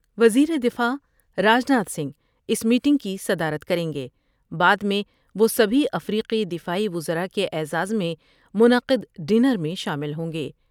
وزیر دفاع راج ناتھ سنگھ اس میٹنگ کی صدارت کر یں گے بعد میں وہ سبھی افریقی دفاعی وزراء کے اعزاز میں منعقد ڈنر میں شامل ہوں گے ۔